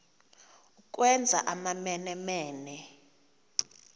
ukwenza amamene mene